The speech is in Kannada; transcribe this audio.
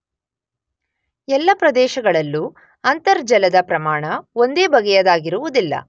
ಎಲ್ಲ ಪ್ರದೇಶಗಳಲ್ಲೂ ಅಂತರ್ಜಲದ ಪ್ರಮಾಣ ಒಂದೇ ಬಗೆಯದಾಗಿರುವುದಿಲ್ಲ.